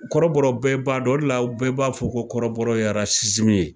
Kɔrɔbɔrɔ bɛɛ b'a dɔn, o de la bɛɛ b'a fɔ ko kɔrɔbɔrɔya ye ye